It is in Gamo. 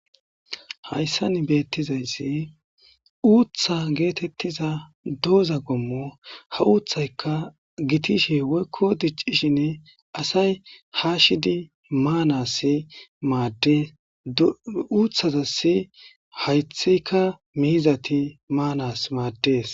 hayssan beettizayssi uutha geetettiza dooza gommo ha uuththayka gitishe woykko diccishinne asay haashidi maanass maaddes uuthazasi haythika miizati maanas maaddees.